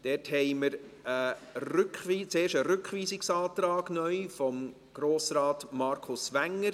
Hierzu haben wir zuerst neu einen Rückweisungsantrag von Grossrat Markus Wenger.